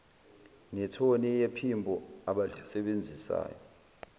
nethoni yephimbo abalisebenzisayo